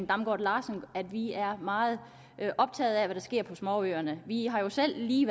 damgaard larsen at vi er meget optaget af hvad der sker på småøerne vi har jo selv lige